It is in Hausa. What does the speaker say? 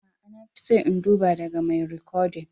A'a, na fi so in duba daga mai rikodin.